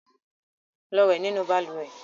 Lọ wẹ nínú balùwẹ̀!